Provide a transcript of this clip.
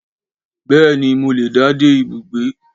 Béè ni, Mo le dá dé ibùgbé